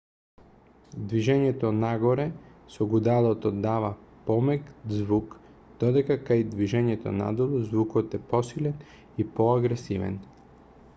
движењето нагоре со гудалото дава помек звук додека кај движењето надолу звукот е посилен и поагресивен